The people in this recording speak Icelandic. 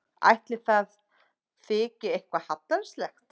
Ætli það þyki eitthvað hallærislegt?